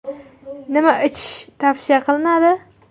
Nima ichish tavsiya qilinadi?